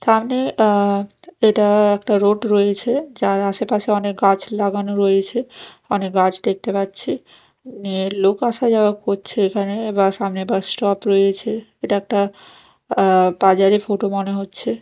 সামনে অ্যা এটা একটা রোড রয়েছে যার আশেপাশে অনেক গাছ লাগানো রয়েছে অনেক গাছ দেখতে পাচ্ছি লোক আসা যাওয়া করছে এখানে সামনে বাসা স্টপ রয়েছে এটা একটা অ্যা বাজারে ফটো মনে হচ্ছে।